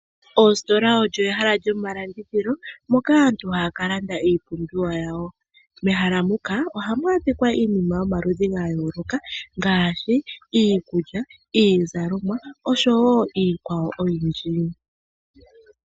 Oositola olyo ehala lyo malandithilo moka aantu haa kalanda iipumbiwa yawo. mehala muka ohamu adhika iinima yomaludhi gayooloka ngaashi iikulya, iizalomwa osho woo iikwawo oyindji.